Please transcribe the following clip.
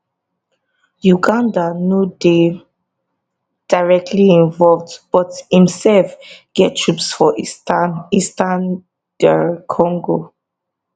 uganda no dey directly involved but imsef get troops for eastern eastern dr congo